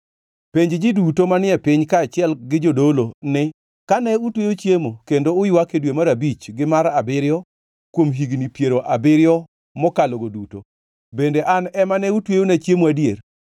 “Penj ji duto manie piny, kaachiel gi jodolo ni, ‘Kane utweyo chiemo kendo uywak e dwe mar abich gi mar abiriyo kuom higni piero abiriyo mokalogo duto, bende an ema ne utweyona chiemo adier?